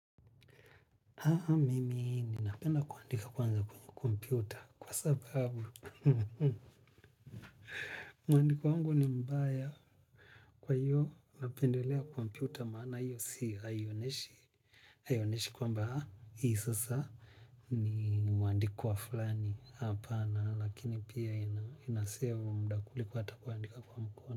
Haha mimi napenda kuandika kwanza kwenye kompyuta kwa sababu mwandiko wangu ni mbaya kwa hiyo napendelea kompyuta maana hiyo seal haionyeshi haionyeshi kwamba hii sasa ni mwandiko wa fulani hapana. Lakini pia inasevu muda kuliko hata kuandika kwa mkono.